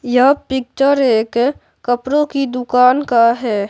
यह पिक्चर एक कपड़ों की दुकान का है।